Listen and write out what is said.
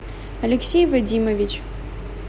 алексей вадимович